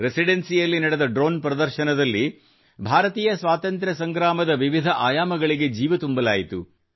ರೆಸಿಡೆನ್ಸಿಯಲ್ಲಿ ನಡೆದ ಡ್ರೋನ್ ಪ್ರದರ್ಶನದಲ್ಲಿ ಭಾರತೀಯ ಸ್ವಾತಂತ್ರ್ಯ ಸಂಗ್ರಾಮದ ವಿವಿಧ ಆಯಾಮಗಳಿಗೆ ಜೀವ ತುಂಬಲಾಯಿತು